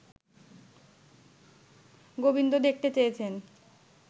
গোবিন্দ দেখতে চেয়েছেন